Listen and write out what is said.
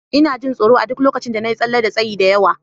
Ina jin tsoro a duk lokacin da na yi tsalle da tsayi da yawa.